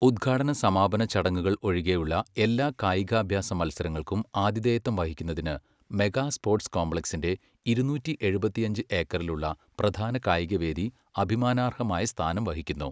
ഉദ്ഘാടന, സമാപന ചടങ്ങുകൾ ഒഴികെയുള്ള എല്ലാ കായികാഭ്യാസ മത്സരങ്ങൾക്കും ആതിഥേയത്വം വഹിക്കുന്നതിന്, മെഗാ സ്പോർട്സ് കോംപ്ലക്സിന്റെ ഇരുന്നൂറ്റി എഴുപത്തിയഞ്ച് ഏക്കറിലുള്ള പ്രധാന കായികവേദി അഭിമാനാർഹമായ സ്ഥാനം വഹിക്കുന്നു.